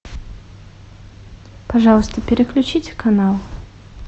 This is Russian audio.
пожалуйста переключите канал